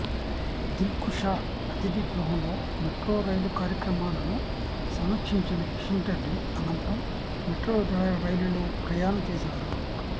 దిల్కుషా అతిథి గృహంలో metro rail కార్యక్రమాలను సమీక్షించిన కిషన్ రెడ్డి అనంతరం మెట్రో రైలులో ప్రయాణం చేశారు